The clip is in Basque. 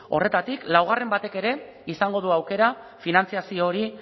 horretatik laugarren batek ere izango du aukera finantzazio hori